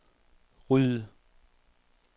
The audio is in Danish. ryd